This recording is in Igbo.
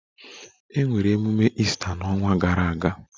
Emere emume Easter n'ọnwa gara aga